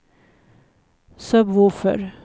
sub-woofer